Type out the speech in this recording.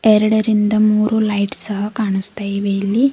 ಎರಡರಿಂದ ಮೂರು ಲೈಟ್ ಸಹ ಕಾಣಿಸ್ತಾ ಇವೆ ಇಲ್ಲಿ.